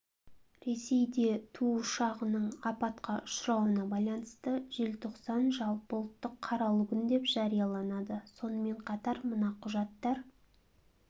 ресейде ту ұшағының апатқа ұшырауына байланысты желтоқсан жалпыұлттық қаралы күн деп жарияланады сонымен қатар мына құжаттар